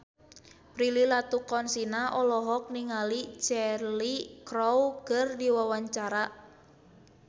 Prilly Latuconsina olohok ningali Cheryl Crow keur diwawancara